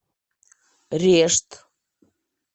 решт